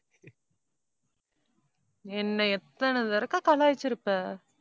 என்னை எத்தன தடவை கலாய்ச்சிருப்ப